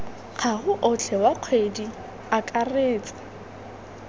gago otlhe wa kgwedi akaretsa